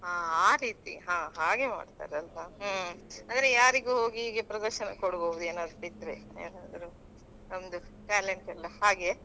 ಹಾ ಆ ರೀತಿ ಹಾ ಹಾಗೆ ಮಾಡ್ತಾರಲ್ವಾ ಹ್ಮ್ ಅಂದ್ರೆ ಯಾರಿಗೂ ಹೋಗಿ ಹೀಗೆ ಪ್ರದರ್ಶನ ಕೊಡ್ಬಹುದು ಏನಾದ್ರು ಇದ್ರೆ ಏನಾದ್ರು ನಮ್ದು talent ಎಲ್ಲ ಹಾಗೆಯಾ.